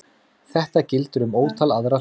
Þetta gildir um ótal aðra hluti.